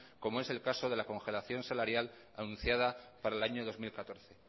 como es el caso de la congelación salarial anunciada para el año dos mil catorce